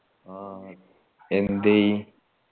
ആ എന്തേയ്